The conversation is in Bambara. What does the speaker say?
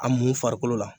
A mun farikolo la